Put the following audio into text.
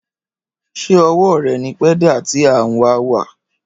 Ṣé owó rẹ ní pédà tí a n wà wà